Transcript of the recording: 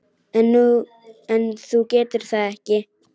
En þú getur það ekki.